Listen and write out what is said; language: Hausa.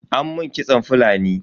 An mun kitson Fulani.